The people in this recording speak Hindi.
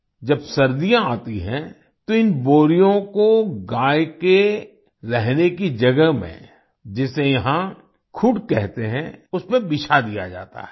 जब सर्दियाँ आती हैं तो इन बोरियों को गाय के रहने की जगह में जिसे यहाँ खूड़ कहते हैं उसमें बिछा दिया जाता है